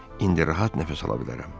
İndi rahat nəfəs ala bilərəm.